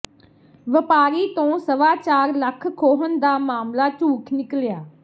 ਵਪਾਰੀ ਤੋਂ ਸਵਾ ਚਾਰ ਲੱਖ ਖੋਹਣ ਦਾ ਮਾਮਲਾ ਝੂਠ ਨਿਕਲਿਆ